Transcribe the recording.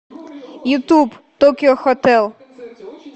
ютуб токио хотэл